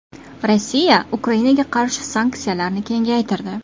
Rossiya Ukrainaga qarshi sanksiyalarni kengaytirdi.